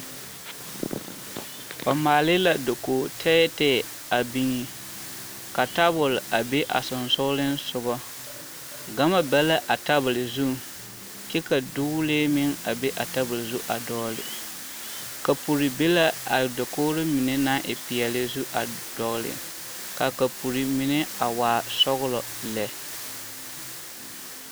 Ba maale la dakogi tɛɛtɛɛ a biŋ ka tabol a be a sonsoolensogɔ, gama be la a tabol zuŋ kyɛ ka dogilee meŋ be a tabol zu a dɔgele kapuri be la a dakogiri mine naŋ e peɛle zu a dɔgele k'a kapuri mine a waa sɔgelɔ lɛ.